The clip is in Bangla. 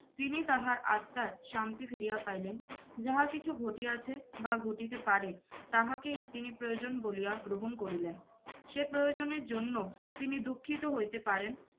তিনি তাহার আত্মার শান্তি ফিরিয়া পাইলেন। যাহা কিছু ঘটিয়াছে বা ঘটিতে পারে তাহাকেই তিনি প্রয়োজন বলিয়া গ্রহণ করিলেন। সে প্রয়োজনের জন্য তিনি দুঃখিত হইতে পারেন,